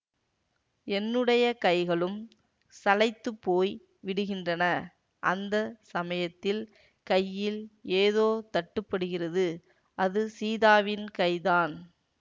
என்னுடைய கைகளும் சளைத்துப் போய் விடுகின்றன அந்த சமயத்தில் கையில் ஏதோ தட்டுப்படுகிறது அது சீதாவின் கைதான்